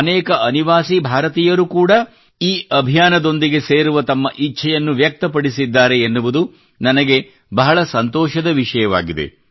ಅನೇಕ ಅನಿವಾಸಿ ಭಾರತೀಯರು ಕೂಡಾ ಈ ಅಭಿಯಾನದೊಂದಿಗೆ ಸೇರುವ ತಮ್ಮ ಇಚ್ಛೆಯನ್ನು ವ್ಯಕ್ತಪಡಿಸಿದ್ದಾರೆ ಎನ್ನುವುದು ನನಗೆ ಬಹಳ ಸಂತೋಷದ ವಿಷಯವಾಗಿದೆ